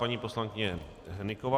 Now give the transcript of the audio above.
Paní poslankyně Hnyková.